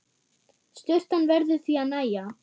Sturtan verður því að nægja.